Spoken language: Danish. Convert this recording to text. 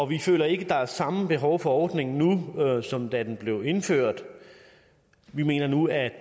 vi føler ikke at der er samme behov for ordningen nu som da den blev indført vi mener nu at